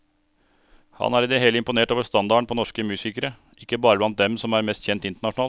Han er i det hele imponert over standarden på norsk musikere, ikke bare blant dem som er mest kjent internasjonalt.